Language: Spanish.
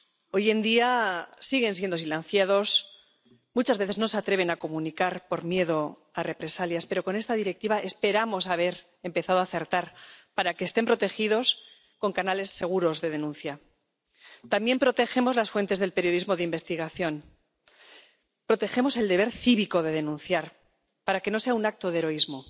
Hoy en día, los denunciantes siguen siendo silenciados y muchas veces no se atreven a comunicar por miedo a represalias, pero con esta Directiva esperamos haber empezado a acertar para que estén protegidos con canales seguros de denuncia. También protegemos las fuentes del periodismo de investigación. Protegemos el deber cívico de denunciar, para que no sea un acto de heroísmo.